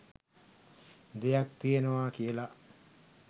දෙයක් තියෙනවා කියලා.